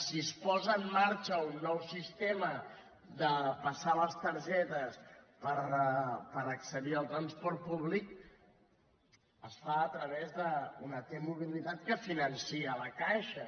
si es posa en marxa un nou sistema de passar les targetes per accedir al transport públic es fa a través d’una t mobilitat que finança la caixa